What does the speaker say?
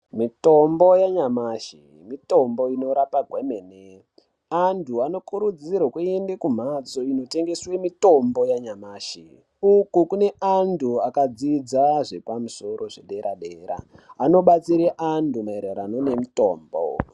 Mitombo yanyamashi mitombo inorapa kwemene. Antu anokurudzirwe nekumphatso inotengeswe mitombo yanyamashi uko kune antu akadzidza zvepamusoro zvedera dera anobatsire antu maererano ngemutombo.